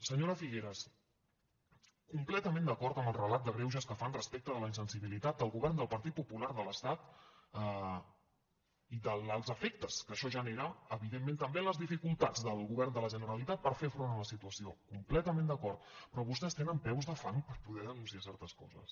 senyora figueras completament d’acord amb el relat de greuges que fan respecte de la insensibilitat del govern del partit popular de l’estat i dels efectes que això genera evidentment també en les dificultats del govern de la generalitat per fer front a la situació completament d’acord però vostès tenen peus de fang per poder denunciar certes coses